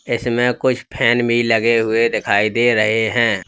इसमें कुछ फैन भी लगे हुए दिखाई दे रहे हैं।